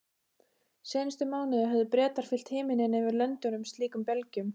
Seinustu mánuði höfðu Bretar fyllt himininn yfir Lundúnum slíkum belgjum.